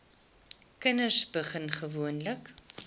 kinders begin gewoonlik